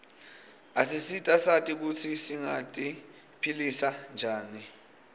asisita sati kutsi singati philisa njani